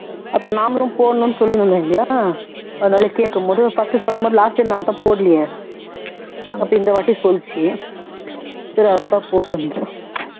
அப்பறம் நாமளும் போடணும்னு சொல்லிட்டு இருந்தோம் இல்லையா அதனால கேக்கும்போது first சொல்லும் போது last time நான்தான் போடலயே அபப இந்தவாட்டி சொல்லிச்சு சரி அதுதான் போட்டு இருந்தேன்